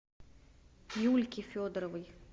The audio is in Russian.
юльки федоровой